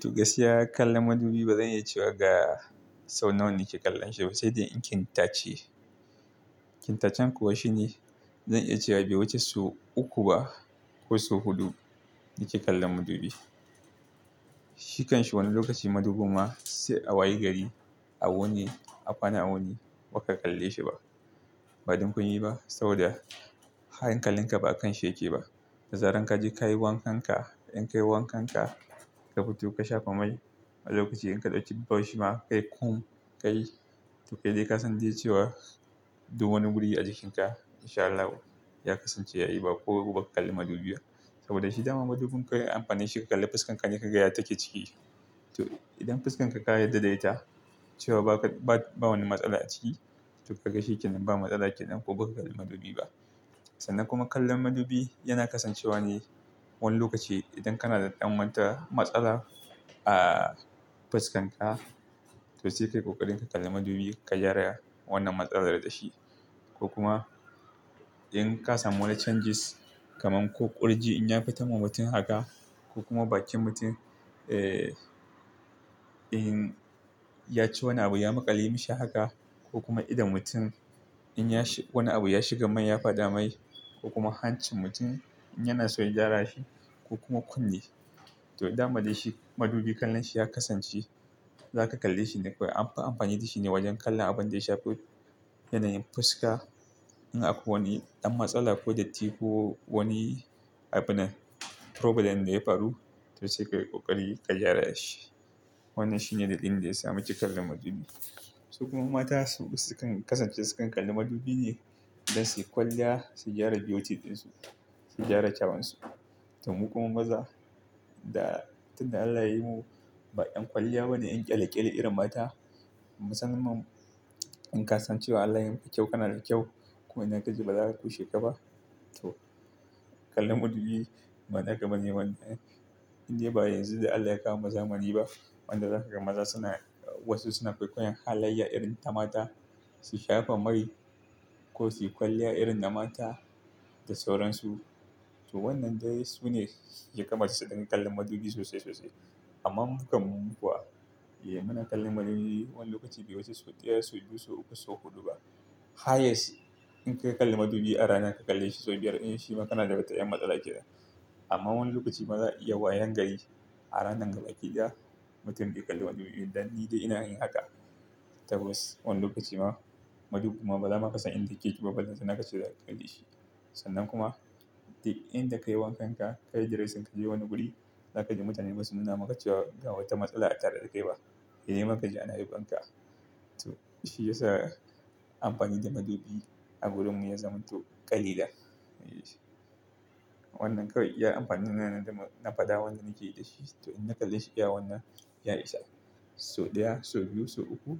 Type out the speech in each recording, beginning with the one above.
To gaskiya kallon madubi bazan iya cewa ga sau nawa nake kallon shi ba, sai dai in kin tace. Kin tacen kuwa shine zan iya cewa bai wuce sau uku ba ko su huɗu nake kallon madubi. Shi kanshi wani lokaci madubin ma sai a waye gari a wuni, a kwana a wuni baka kalle shi ba. Ba don komii ba, saboda hankalin ka ba kan shi yake ba. Da zaran ka je kayi wankan ka, in kayi wankan ka, ka fito ka shafa mai a lokaci in ka ɗauki bashima, kai kum, kai tokai dai ka san dai cewa duk wani guri a jikin ka in sha Allah ya kasance ya yi ba ko baka kallo madubi ba. Saboda shi dama madubin kawai amfani shi ka kalli fuskan ka ne ka ga yadda take ciki. To idan fuskan ka ka yadda da ita cewa ba wani matsala a ciki, to kaga shikenan ba matsala kenan ko baka duba madubi ba sannan kuma kallon madubi yana kasancewa ne wani lokaci idan kana da ɗan manta matsala a fuskan ka, to sai ka yi ƙoƙarin ka kalli madubi ka gyara wannan matsalar dashi. Ko kuma in ka samu wani changes kamar ko ƙurji in ya fito ma mutum haka ko kuma bakin mutum, eh, in ya ci wani abu ya maƙale mashi haka ko kuma idon mutum in wani abu ya shiga mai ya fada mai ko kuma hancin mutum in yana so ya gyara shi ko kuma kunne. To dama da shi madubi kallon shi ya kasance zaka kalle shi ne kawai, anfi amfani da shi ne wajen kallon abin da ya shafi yanayin fuska. In akwai wani ɗan matsala ko datti ko wani abinan problem da ya faru, to sai ka yi ƙoƙari ka gyara shi. Wannan shi ne dalilin da ya sa muke kallon madubi. Su kuma mata sukan kasance sukan kalli madubi ne don suyi kwalliya su gyara beauty ɗinsu, su gyara kyauwunsu to mu kuma maza da tun da Allah ya yi mu ba 'yan kwalliya ba ne, 'yan ƙyale-ƙyale irin mata. Musamman in ka san cewa Allah ya yi maka kyau, kana da kyau kuma idan ka ji ba za'a kushe ka ba. To kallon madubi ba naka bane ma indai ba yanzu da Allah ya kawo mu zamani ba. Wanda zaka ga maza suna wasu suna kwaikoyon halayya irin ta mata, su shafa mai, ko su yi kwalliya irin na mata da sauransu. To wannan dai sune ya kama su dinga kallon madubi sosai sosai. Amman mu kam mu kuwa, muna kallon madubi wani lokaci bai wuce sau daya, sau biyu, sau uku, sau huɗu ba. Highest in ka kalli madubi a ranar ka kalle shi sau biyar, in shi ma kana da wata ƴan matsala kenan. Amma wani lokaci ma za'a iya wayan gari a ranan gabaki ɗaya mutum bai kalli madubi dan nidai ina yin haka. Tabbas wani lokaci ma madubi ma bazama kasan inda yake ba, ballantana kace zaka kalle shi. Sannan kuma duk inda ka yi wankan ka, kayi diresin ka je wani guri, zaka ji mutane basu nuna maka cewa ga wata matsala a tare da kai ba. Sai dai ma kaji ana yabon ka to shi ya sa amfani da madubi a gurinmu ya zamo ƙa'ida. Wannan kawai iya amfanina da na fada wanda nake yi da shi to in na kalle shi iya wannan, ya isa. Sau daya, sau biyu, sau uku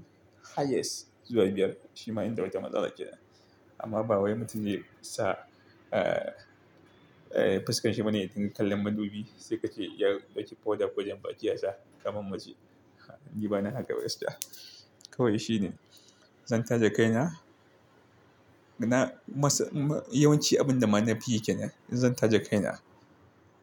highest zuwa biyar. Shi ma inda wata matsala kenan. Amma ba wai mutum zai sa, eh, fuskan shi bane ya dinga kallon madubi sai ka ce ya ɗauki powder ko jan baki ya sa kamar mace. Ni bana haka gaskiya. Kawai shi ne zan taje kai na. Na masa yawanci abin da ma na fi yi kenan, in zan taje kai na,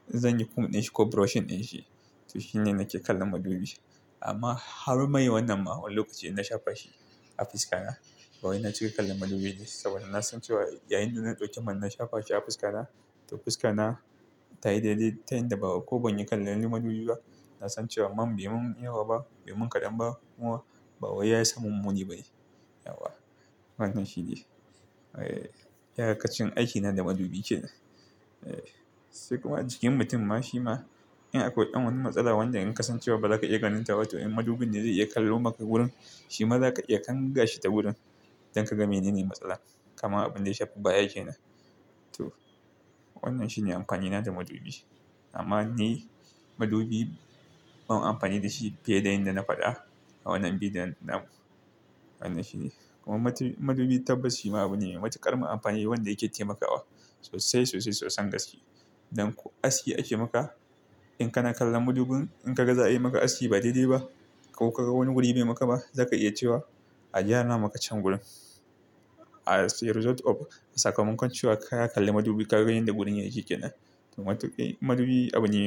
zan yi kum ɗin shi ko brushing ɗin shi. To shi ne nake kallon madubi. Amma har mai wannan ma wani lokaci in na shafa shi a fuska na. Bawai na cika kallon madubi saboda na san cewa yayin da na ɗauke man na shafa shi a fuska na, to fuska na ta yi daidai ta yanda ko ban yi kallon madubi ba. Na san cewa man bai mun yawa ba, bai mun kaɗan ba kuma ba wai ya samun muni ba ne. Wannan shi ne. Eh, iyakacin aiki na da madubi kenan. Sai kuma a jikin mutum ma shima in akwai ɗan wani matsala wanda in kasan cewa ba zaka iya ganin ta ba, to in madubin ne zai kallo maka wurin, shima zaka iya kanga shi ta wurin don ka ga menene matsalar. Kaman abin da ya shafi baya kenan. To wannan shi ne amfanina da madubi. Amma ni madubi ban amfani da shi fiye da yadda na fada a wannan bi da nan. Wannan shi ne. Kuma madubi tabbas shi ma abune mai matuƙar amfani wanda yake taimakawa sosai sosai soson gaske. Don ko aski ake maka. In kana kallon madubin in ka ga za a yi maka aski ba daidai ba ko ka ga wani guri bai maka ba, zaka iya cewa a gyara maka can wurin. As result of sakamakon cewa ka kalli madubi kaga yadda gurin yake kenan. To madubi abune.